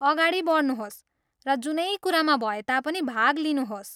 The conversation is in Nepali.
अगाडि बढ्नुहोस् र जुनै कुरामा भए तापनि भाग लिनुहोस्।